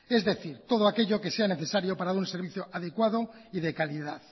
es decir todo aquello que sea necesario para dar un servicio adecuado y de calidad